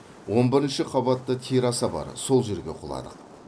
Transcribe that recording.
он бірінші қабатта терасса бар сол жерге құладық